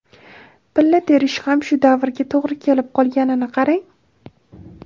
Pilla terish ham shu davrga to‘g‘ri kelib qolganini qarang.